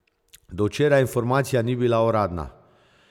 Do včeraj informacija ni bila uradna.